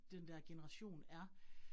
Den dér generation er